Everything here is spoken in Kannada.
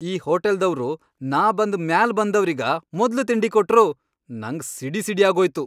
ಈ ಹೋಟಲ್ದವ್ರು ನಾ ಬಂದ್ ಮ್ಯಾಲ್ ಬಂದವ್ರಿಗ ಮೊದ್ಲ್ ತಿಂಡಿ ಕೊಟ್ರು, ನಂಗ್ ಸಿಡಿಸಿಡಿಯಾಗೋಯ್ತು.